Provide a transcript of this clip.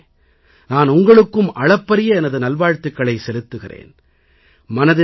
நாட்டுமக்களே நான் உங்களுக்கும் அளப்பரிய எனது நல்வாழ்த்துகளை செலுத்துகிறேன்